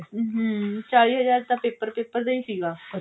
ਹਮ ਚਾਲੀ ਹਜ਼ਾਰ ਤਾਂ paper paper ਦਾ ਹੀ ਸੀਗਾ